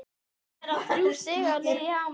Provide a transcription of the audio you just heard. Virðast vera þrjú stig á leið í Hamar?